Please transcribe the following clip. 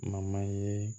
ye